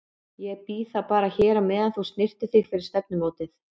Ég bíð þá bara hér á meðan þú snyrtir þig fyrir stefnumótið.